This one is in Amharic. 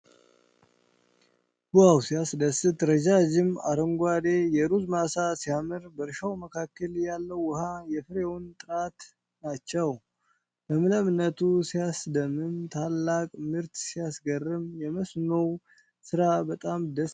ዋው! ሲያስደስት! ረዣዥም አረንጓዴ የሩዝ ማሳ ሲያምር! በእርሻው መካከል ያለው ውኃ የፍሬውን ጥራት ናቸው። ለምለምነቱ ሲያስደምም! ታላቅ ምርት! ሲያስገርም! የመስኖው ስራ በጣም ደስ ይላል።